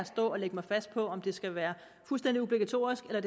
og lægge mig fast på om det skal være fuldstændig obligatorisk eller